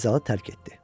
Və zalı tərk etdi.